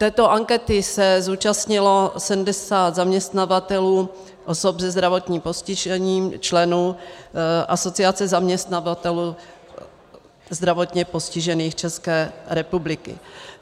Této ankety se zúčastnilo 70 zaměstnavatelů osob se zdravotním postižením, členů Asociace zaměstnavatelů zdravotně postižených České republiky.